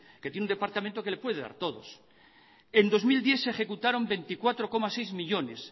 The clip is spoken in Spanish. que tiene un departamento que le puede dar todos en dos mil diez se ejecutaron veinticuatro coma seis millónes